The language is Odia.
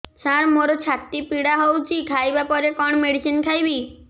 ସାର ମୋର ଛାତି ପୀଡା ହଉଚି ଖାଇବା ପରେ କଣ ମେଡିସିନ ଖାଇବି